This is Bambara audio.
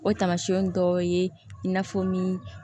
O tamasiyɛnw dɔ ye n'a fɔ ni